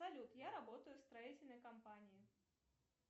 салют я работаю в строительной компании